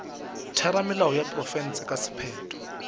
theramelao ya profense ka sephetho